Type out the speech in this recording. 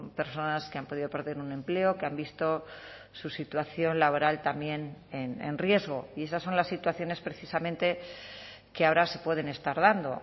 personas que han podido perder un empleo que han visto su situación laboral también en riesgo y esas son las situaciones precisamente que ahora se pueden estar dando